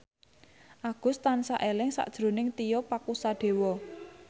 Agus tansah eling sakjroning Tio Pakusadewo